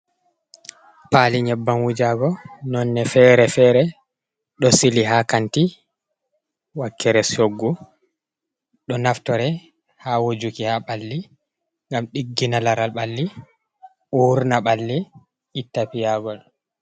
Paali nyebbam wujago nonde fere-fere ɗo sili ha kanti wakkere shoggu, ɗo naftire ha wojuki ha ɓalli ngam ɗiggina laral ɓalli urna ɓalli iita piyagol.